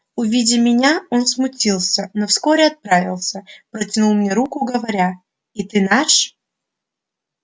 увидя меня он смутился но вскоре оправился протянул мне руку говоря и ты наш